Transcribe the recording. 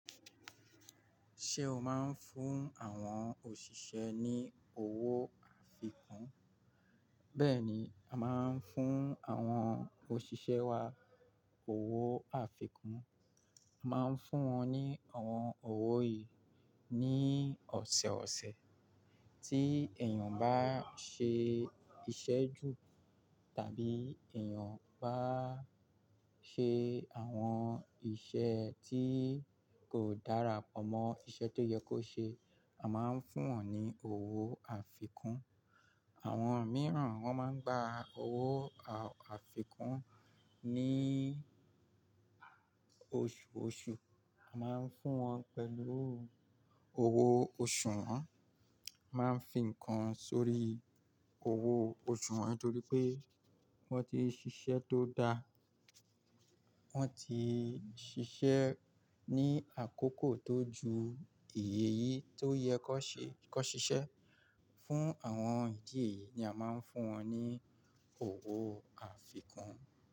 Ṣé o máa ń fún àwọn òṣìṣẹ́ ní owó àfikún? Bẹ́ẹ̀ni, a máa ń fún àwọn òṣìṣẹ́ wa owó àfikún. Máa ń fún wọn ní àwọn owó yìí ní ọ̀sọ̀ọ̀sẹ̀. Tí èèyàn bá ṣe iṣẹ́ jù tàbí èèyàn bá ṣe àwọn iṣẹ́ tí kò dára pọ̀ mọ́ iṣẹ́ tó yẹ kó ṣe, a máa ń fún wọn ní owó àfikún. Àwọn mìíràn wọn máa ń gba owó àfikún ní òṣùòṣù. A máa ń fún wọn pẹ̀lú owó oṣù wọn, máa ń fi nǹkan sórí owó oṣù wọn nítorí pé wọ́n ti ṣiṣẹ́ tó dáa, wọ́n ti ṣiṣẹ́ ní àkókò tó ju èyí tó yẹ kó ṣe kó ṣiṣẹ́. Fún àwọn ìdí èyí ni a máa ń fún wọn ní owó àfikún.